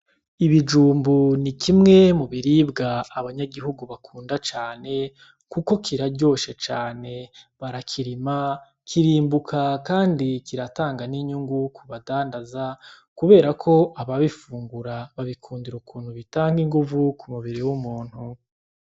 Ibijumbu ni kimwe mu biribwa abanyagihugu bakunda cane, kuko kiraryoshe cane. Barakirima, kirimbuka, kandi kiratanga n'inyungu ku badandaza kubera ko ababifungura babikundira ukuntu bitanga inguvu ku mubiri w'umuntu.